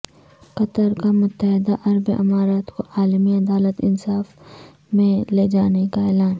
قطرکا متحدہ عرب امارات کو عالمی عدالت انصاف میں لیجانے کا اعلان